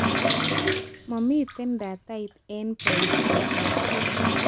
Mamitien datait eng boishetab chi